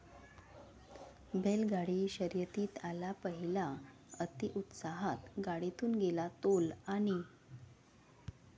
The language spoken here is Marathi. बैलगाडी शर्यतीत आला पहिला, अतिउत्साहात गाडीतून गेला तोल, आणि...!